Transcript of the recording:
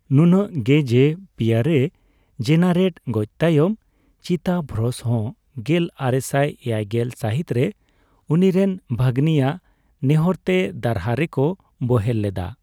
ᱱᱩᱱᱟᱹᱜ ᱜᱮ ᱡᱮ ᱯᱤᱭᱮᱨᱮ ᱡᱮᱱᱟᱨᱮᱴ ᱜᱚᱡ ᱛᱟᱭᱚᱢ ᱪᱤᱛᱟᱵᱷᱚᱨᱥ ᱦᱚᱸ ᱜᱮᱞ ᱟᱨᱮᱥᱟᱭ ᱮᱭᱟᱭᱜᱮᱞ ᱥᱟᱹᱦᱤᱛ ᱨᱮ ᱩᱱᱤᱨᱮᱱ ᱵᱷᱟᱹᱜᱽᱱᱤ ᱟᱜ ᱱᱮᱦᱚᱸᱨ ᱛᱮ ᱫᱟᱨᱦᱟ ᱨᱮᱠᱚ ᱵᱳᱦᱮᱞ ᱞᱮᱫᱟ ᱾